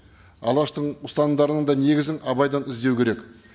алаштың ұстамдарының да негізін абайдан іздеу керек